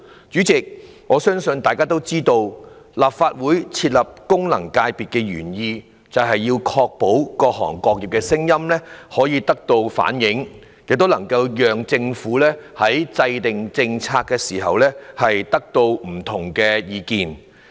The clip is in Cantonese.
主席，大家也知道，立法會設立功能界別的原意是確保各行各業的聲音可以得到反映，也能夠讓政府在制訂政策時，得到不同的意見。